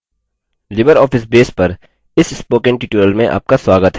libreoffice base पर इस spoken tutorial में आपका स्वागत है